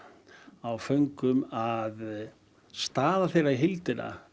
á föngum að staða þeirra í heildina